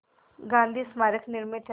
गांधी स्मारक निर्मित है